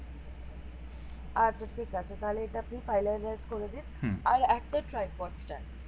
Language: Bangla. আচ্ছা ঠিক আছে তাইলে এটা আপনি finalize করে দিন আর একটা ট্রাইপড চাই